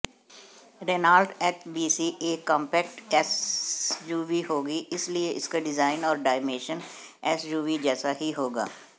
Renault HBC एक compact SUV होगी इसलिए इसका डिजाइन और डायमेंशन एसयूवी जैसा ही होगा